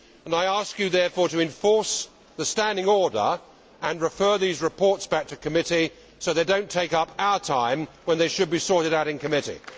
I ask you, therefore, to enforce the standing order and refer these reports back to committee, so that they do not take up our time when they should be sorted out in committee.